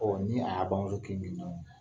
ni